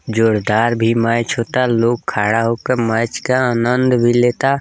जोरदार भी मैच होता लोग खड़ा होके मैच का आनन्द भी लेता।